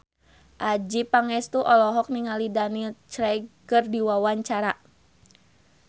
Adjie Pangestu olohok ningali Daniel Craig keur diwawancara